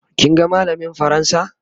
kin ga mallamin fransa?